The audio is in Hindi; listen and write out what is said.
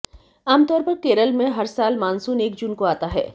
आमतौर पर केरल में हर साल मानसून एक जून को आता है